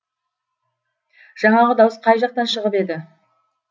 жаңағы дауыс қай жақтан шығып еді